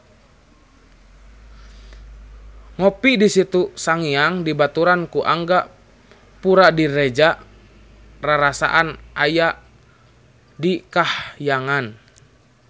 Ngopi di Situ Sangiang dibaturan ku Angga Puradiredja rarasaan aya di kahyangan